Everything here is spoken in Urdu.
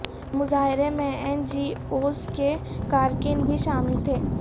مظاہرے میں این جی اوز کے کارکن بھی شامل تھے